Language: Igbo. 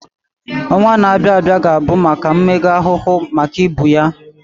Ọnwa na-abịa abịa ga-abụ maka mmega ahụ maka ibu ya